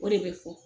O de bɛ fɔ